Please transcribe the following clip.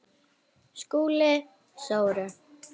SKÚLI: Sóru?